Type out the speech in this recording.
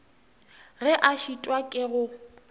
ge a šitwa ke go